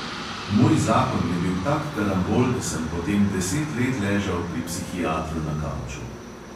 Moj zakon je bil tak karambol, da sem potem deset let ležal pri psihiatru na kavču.